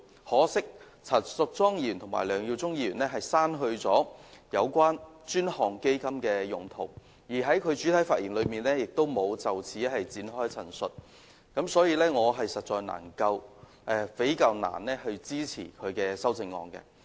可惜，陳淑莊議員和梁耀忠議員刪去有關專項基金用途的內容，而他們在主體發言時也沒有就此作出陳述，所以我實在難以支持他們的修正案。